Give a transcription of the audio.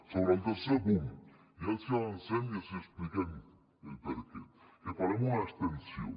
sobre el tercer punt ja els avancem i els expliquem el per què en farem una extensió